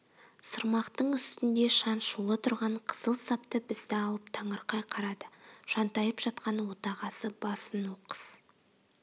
сырмақтың үстінде шаншулы тұрған қызыл сапты бізді алып таңырқай қарады жантайып жатқан отағасы басын оқыс